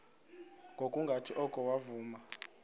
ngokungathi oko wavuma